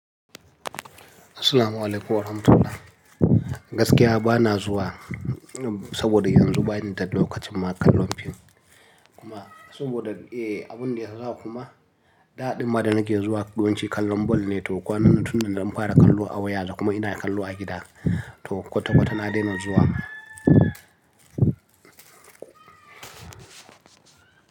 Assalamu'alaikum warahmatullahi. Gaskiya ba na zuwa saboda yanzu ba ni da lokacin ma kallon fim kuma saboda, eh, abun da ya sa kuma da ɗin ma da nake zuwa yawanci kallon ball ne toh kwanan nan tun da na fara kallo a waya kuma ina kallo a gida. Toh kwata kwata na daina zuwa.